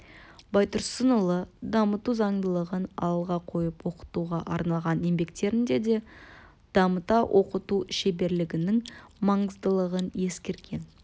байтұрсынұлы дамыту заңдылығын алға қойып оқытуға арналған еңбектерінде де дамыта оқыту шеберлігінің маңыздылығын ескерген